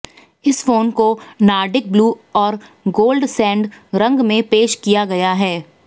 इस फोन को Nordic blue और गोल्ड सैंड रंग में पेश किया गया है